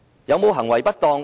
有行為不當嗎？